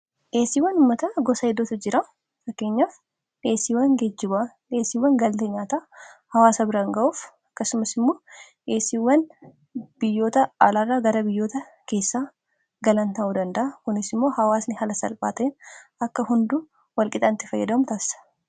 dheesiiwwan ummata gosa hedootu jira fakkeenyaaf dheesiiwwan geejjubaa dheesiiwwan galata nyaataa hawaasa biraan ga'uuf akkasumas immoo dheesiiwwan biyyoota alaara gara biyyoota keessaa galan ta'uu danda kunis immoo hawaasni hala salphaaten akka hunduu walqixaanitti fayyadamutaassa